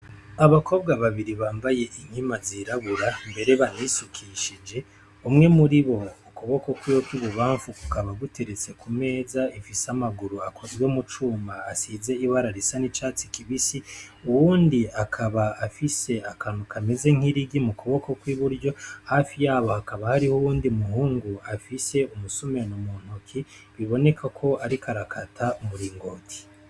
Abakobwa babiri bambaye inkima zirabura mbere banisukishije, umwe muri bo ukuboko kwiwe kw'ibubamfu kukaba guteretse ku meza ifise amaguru akozwe mu cuma asize ibara risize n'icatsi kibisi, uwundi akaba afise akantu kameze nk'irigi mu kuboko kw'iburyo, hafi yabo hakaba hariho uwundi muhungu afise umusumeno muntoki, biboneka ko ariko arakata umuringoti.